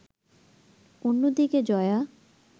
অন্যদিকে জয়া